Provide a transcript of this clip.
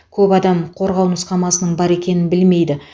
көп адам қорғау нұсқамасының бар екенін білмейді